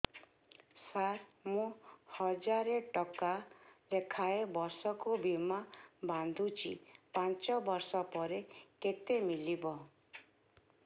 ସାର ମୁଁ ହଜାରେ ଟଂକା ଲେଖାଏଁ ବର୍ଷକୁ ବୀମା ବାଂଧୁଛି ପାଞ୍ଚ ବର୍ଷ ପରେ କେତେ ମିଳିବ